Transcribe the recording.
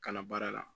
Kala baara la